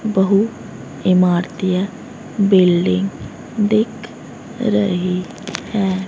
बहु इमारतीय बिल्डिंग दिख रही है।